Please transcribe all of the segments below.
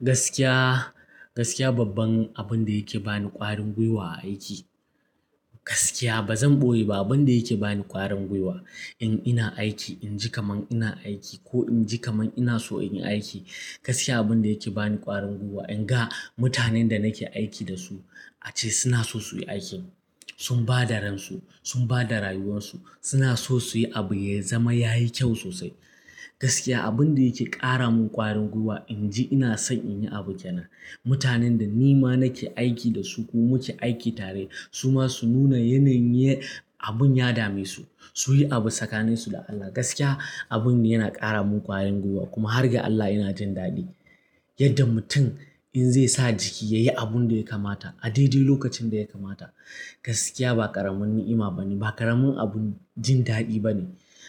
Gaskiya, gaskiya babban abin da yake bani ƙwarin gwiwa a aiki, gaskiya ba zan ɓoye ba abin da yake bani ƙwarin gwiwa in ina aiki inji kaman ina aiki ko inji kaman ina so in yi aiki gaskiya abin da yake bani ƙwarin gwiwa in ga mutanen da nake aiki da su ace suna so su yi aikin. Sun ba da ransu, sun ba da rayuwansu, suna so su yi abu ya zama yayi kyau sosai. Gaskiya abunda yake ƙaramun ƙwarin gwiwa in ji ina san nayi abu kenan. Mutanen da nima nake aiki da su ko muke aiki tare suma sun nuna yanayin abun ya dame su. Su yi abu tsakanin su da Allah gaskiya abun yana ƙara mun ƙwarin gwiwa kuma hargan Allah ina jin daɗi. Yadda mutum in zai sa jiki ya yi abun da ya kamata a daidai lokacin da ya kamata. Gaskiya ba ƙaramin ni'ima bane, ba karamin abun jindaɗi bane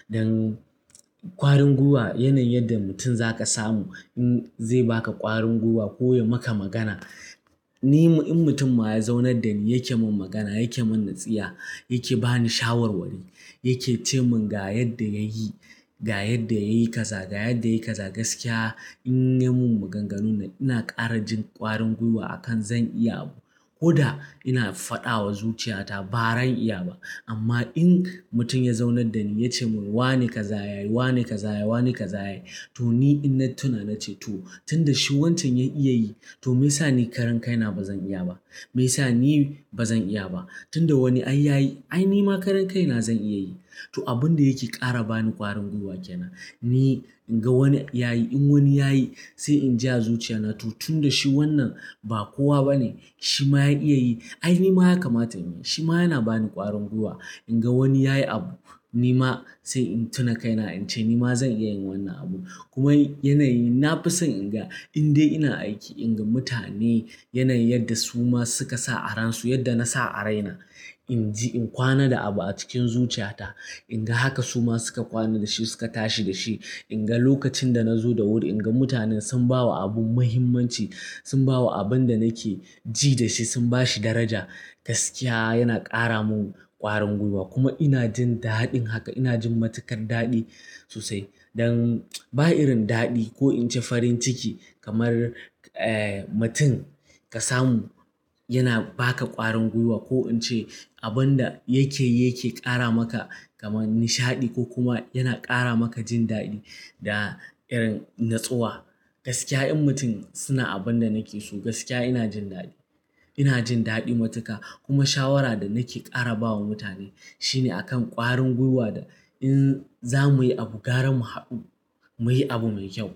don ƙwarin gwiwa yanayin yadda mutum zaka samu in zai baka ƙwarin gwiwa ko ya maka magana. Ni in mutum ma ya zaunar da ni yake mun magana, yake mun nasiha, yake bani shawarwari, yake ce mun ga yadda yayi, ga yadda yayi kaza, ga yadda yayi kaza, gaskiya in ya min maganganu ina ƙarajin ƙwarin gwiwa akan zan iya abu ko da ina faɗawa zuciyata ba ran iya ba amma in mutum ya zaunar da ni ya ce mun wane ka za a yi, wane ka za a yi, wane ka za a yi to ni in na tuna na ce to tunda shi wancan ya iya yi to meyasa ni karan kaina ba zan iya ba me sa ni ba zan iya ba? Tun da wani an ya yi ai ni ma karan kaina zan iya yi. To abin da yake ƙara bani ƙwarin gwiwa kenan. Ni in ga wani ya yi, in wani ya yi sai in ji azuciya na to tun da shi wannan ba kowa bane shi ma ya iya yi ai ni ma ya kamata in yi. Shi ma yana bani ƙwarin gwiwa in ga wani ya yi abu ni ma sai in tuna kaina in ce ni ma zan iya yin wannan abu. Kuma yanayi na fi son in ga in dai ina aiki in ga mutane yanayin yadda su ma suka sa aransu yadda na sa araina inji in kwana da abu a cikin zuciyata in ga haka su ma suka kwana da shi suka tashi da shi. In ga lokacin da na zo da wuri in ga mutanen sun ba wa abun mahimmanci, sun ba wa abin da nake ji da shi sun ba shi daraja gaskiya yana ƙara mun ƙwarin gwiwa kuma ina jin daɗin haka ina jin matukar daɗi sosai. Don ba irin daɗi ko in ji farin ciki kamar eh mutum ka samu yana baka ƙwarin gwiwa ko in ce abin da yake yake ƙara maka kamar nishaɗi ko kuma yana ƙara maka jin daɗi da irin natsuwa. Gaskiya in mutum suna abin da nake so gaskiya ina jin daɗi. Ina jin daɗi matuka kuma shawara da nake ƙara ba wa mutane shine a kan ƙwarin gwiwa da in za muyi abu gara mu haɗu muyi abu mai kyau.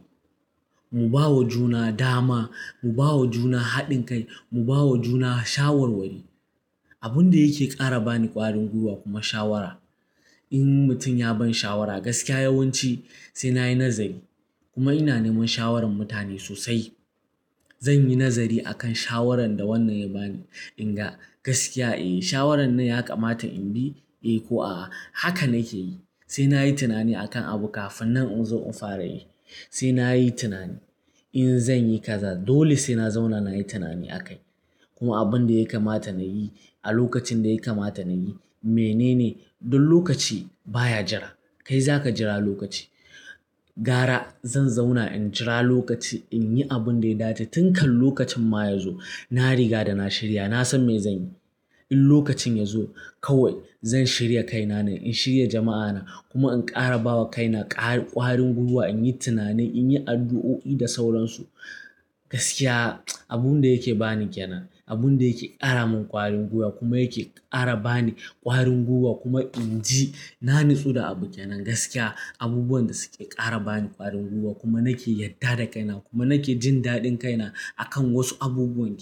Mu bawa juna dama, mu bawa juna haɗin kai, mu bawa juna shawarwari. Abun da yake ƙara bani ƙwarin gwiwa kuma shawara in mutum ya ban shawara gaskiya yawanci sai na yi nazari kuma ina neman shawaran mutane sosai. Danyi nazari akan shawarar da wannan ya ba ni, in ga gaskiya eh, shawaran nan yakamata na bi eh ko a'a haka nakeyi sai nayi tunani akan abu kafinnan na zo na fara yi sai na yi tunani in zan yi kaza dole sai na zauna na yi tunani a kai. Kuma abin da ya kamata nayi a lokacin da ya kamata nayi menene don lokaci baya jira kai zaka jira lokaci. Gara zan zauna in jira lokaci in yi abun da ya dace tun kan lokacin ma ya zo na riga da na shirya na san me zan yi. In lokacin ya zo kawai zan shirya kaina ne, in shirya jama'ana kuma in ƙara bawa kaina ƙwarin gwiwa in yi tunani in yi addu'o'i da sauransu. Gaskiya abun da yake bani kenan, abun da yake ƙara mun ƙwarin gwiwa kuma yake ƙara bani ƙwarin gwiwa kuma inji na natsu da abu kenan gaskiya abubuwan da suke ƙara bani ƙwarin gwiwa kuma nake yadda da kaina kuma nake jin daɗin kaina akan wasu abubuwa kenan.